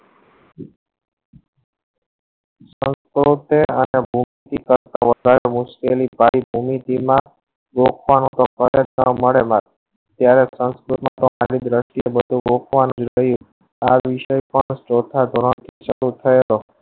વધાર મુશ્કેલી મળેલા ત્યારે આ વિષય મેં